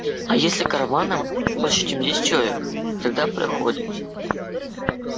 а если караваном больше чем десять человек тогда проходят